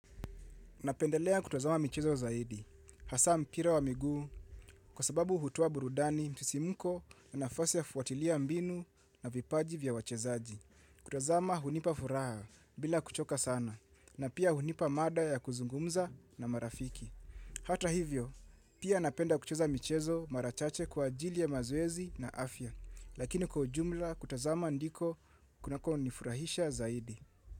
Napendelea kutazama michezo zaidi, hasa mpira wa miguu, kwa sababu hutoa burudani msisimuko, na nafasi ya kufuatilia mbinu na vipaji vya wachezaji. Kutazama hunipa furaha bila kuchoka sana, na pia hunipa mada ya kuzungumza na marafiki. Hata hivyo, pia napenda kucheza michezo marachache kwa ajili ya mazoezi na afya, lakini kwa ujumla kutazama ndiko kunakonifurahisha zaidi.